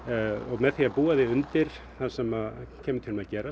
með því að búa þig undir það sem kemur til með að gerast